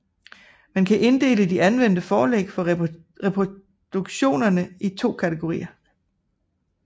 Man kan inddele de anvendte forlæg for reproduktionerne i to kategorier